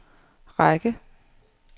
række